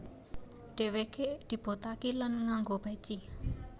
Dhèweké dibothaki lan nganggo peci